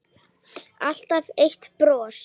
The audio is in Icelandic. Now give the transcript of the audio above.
Alltaf eitt bros.